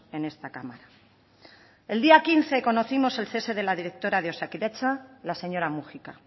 en esta cámara el día quince conocimos el cese de la directora de osakidetza la señora múgica